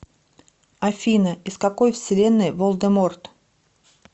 афина из какой вселенной волдеморт